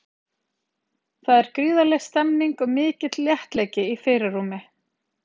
Þar er gríðarleg stemning og mikill léttleiki í fyrirrúmi.